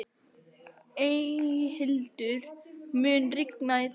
Eyhildur, mun rigna í dag?